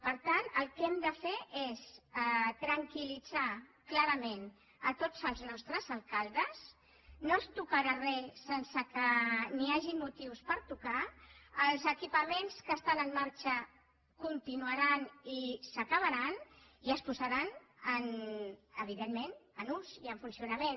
per tant el que hem de fer és tranquiltots els nostres alcaldes no es tocarà re sense que hi hagi motius per tocar els equipaments que estan en marxa continuaran i s’acabaran i es posaran evidentment en ús i en funcionament